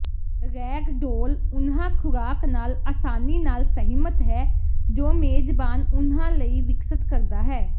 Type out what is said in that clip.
Ragdoll ਉਨ੍ਹਾਂ ਖੁਰਾਕ ਨਾਲ ਆਸਾਨੀ ਨਾਲ ਸਹਿਮਤ ਹੈ ਜੋ ਮੇਜਬਾਨ ਉਨ੍ਹਾਂ ਲਈ ਵਿਕਸਤ ਕਰਦਾ ਹੈ